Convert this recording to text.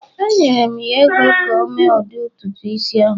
Enyere m ya ego ka o mee ụdị ntutu isi ọhụrụ